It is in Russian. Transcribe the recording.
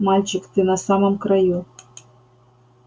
мальчик ты на самом краю